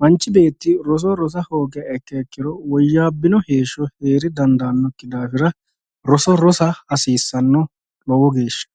,manchi beetti roso rossa hoogiha ikkiro woyyabbino heeshsho heere dandanokki daafira roso rossa hasiisano lowo geeshsha.